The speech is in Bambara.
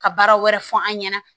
Ka baara wɛrɛ fɔ an ɲɛna